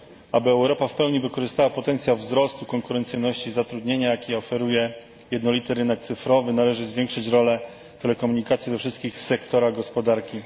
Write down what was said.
Aby Europa w pełni wykorzystała potencjał wzrostu konkurencyjności i zatrudnienia, jaki oferuje jednolity rynek cyfrowy, należy zwiększyć rolę telekomunikacji we wszystkich sektorach gospodarki.